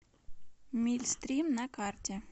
мильстрим на карте